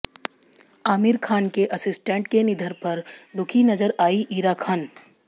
आमिर खान के असिस्टेंट के निधन पर दुखी नजर आईं इरा खान